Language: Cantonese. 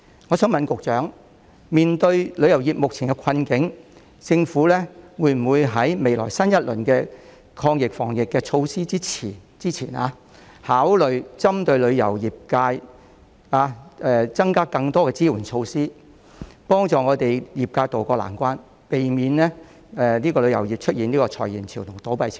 我想問局長，面對旅遊業目前的困境，政府會否在未來推出新一輪的抗疫防疫措施前，考慮針對旅遊業界，增加更多的支援措施，以協助業界渡過難關，避免旅遊業出現裁員潮和倒閉潮呢？